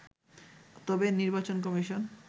তবে, নির্বাচন কমিশন